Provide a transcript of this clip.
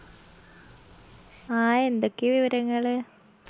ആ എന്തൊക്കെയാ വിവരങ്ങള്